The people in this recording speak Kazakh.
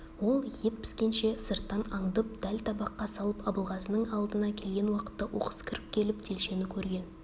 ол ет піскенше сырттан аңдып дәл табаққа салып абылғазының алдына келген уақытта оқыс кіріп келіп телшені көрген